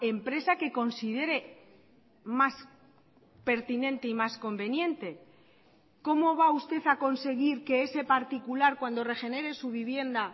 empresa que considere más pertinente y más conveniente cómo va usted a conseguir que ese particular cuando regenere su vivienda